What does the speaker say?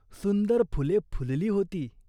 सुंदर फुले फुलली होती.